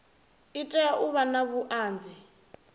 itela u vha na vhuanzi